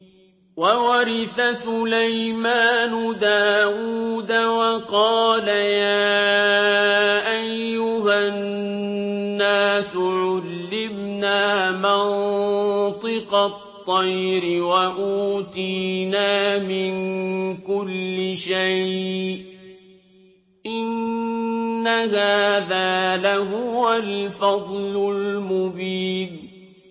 وَوَرِثَ سُلَيْمَانُ دَاوُودَ ۖ وَقَالَ يَا أَيُّهَا النَّاسُ عُلِّمْنَا مَنطِقَ الطَّيْرِ وَأُوتِينَا مِن كُلِّ شَيْءٍ ۖ إِنَّ هَٰذَا لَهُوَ الْفَضْلُ الْمُبِينُ